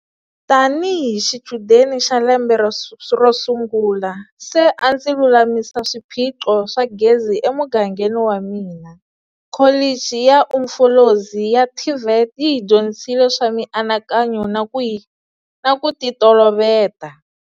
Tanihi xichudeni xa lembe ro sungula, se a ndzi lulamisa swiphiqo swa gezi emugangeni wa mina. Kholichi ya Umfolozi ya TVET yi hi dyondzisile swa mianakanyo na ku yi na ku titoloveta.